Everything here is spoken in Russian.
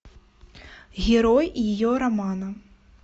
герой ее романа